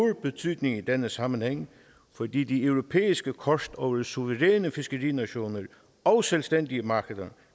betydning i denne sammenhæng fordi det europæiske kort over suveræne fiskerinationer og selvstændige markeder